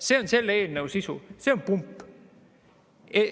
See on selle eelnõu sisu, see on pump.